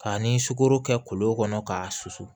K'a ni sukoro kɛ kolo kɔnɔ k'a susu